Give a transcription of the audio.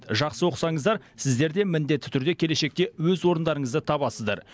жақсы оқысаңыздар сіздер де міндетті түрде келешекте өз орындарыңызды табасыздар